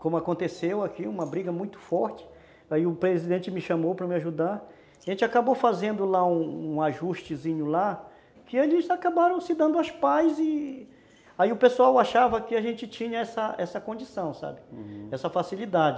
como aconteceu aqui, uma briga muito forte, aí o presidente me chamou para me ajudar, a gente acabou fazendo lá um ajustezinho lá, que eles acabaram se dando as paz, e... Aí o pessoal achava que a gente tinha essa essa condição, essa facilidade, Uhum.